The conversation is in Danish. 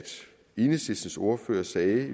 enhedslistens ordfører jo sagde